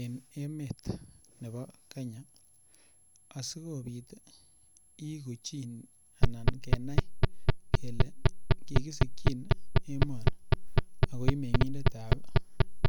En emet nebo Kenya asikobit iiku chi anan kenai kele kikisikchin emoni ako ii meng'indetab